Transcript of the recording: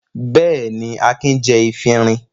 Bẹ́ẹ̀ni, Akin jí efirin.